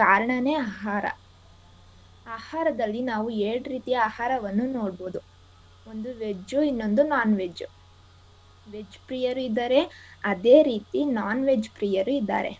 ಕಾರಣಾನೆ ಆಹಾರ. ಆಹಾರದಲ್ಲಿ ನಾವು ಎರ್ಡ್ ರೀತಿಯ ಆಹಾರವನ್ನು ನೋಡ್ಬೋದು. ಒಂದು veg ಉ ಇನ್ನೊಂದು non-veg . veg ಪ್ರಿಯರು ಇದಾರೆ ಅದೇ ರೀತಿ non-veg ಪ್ರಿಯರು ಇದಾರೆ.